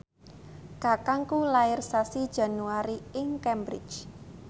kakangku lair sasi Januari ing Cambridge